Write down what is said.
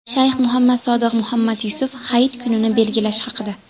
Shayx Muhammad Sodiq Muhammad Yusuf hayit kunini belgilash haqida.